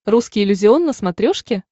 русский иллюзион на смотрешке